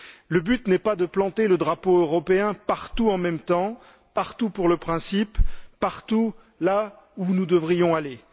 Le but n'est pas de planter le drapeau européen partout en même temps, partout pour le principe, partout là où nous devrions aller.